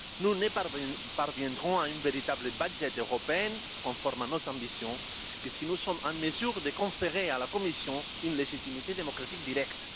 Nous ne parviendrons à un véritable budget européen, conforme à nos ambitions, que si nous sommes en mesure de conférer à la Commission une légitimité démocratique directe.